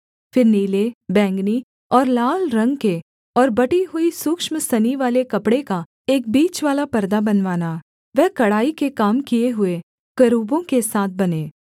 फिर नीले बैंगनी और लाल रंग के और बटी हुई सूक्ष्म सनीवाले कपड़े का एक बीचवाला परदा बनवाना वह कढ़ाई के काम किए हुए करूबों के साथ बने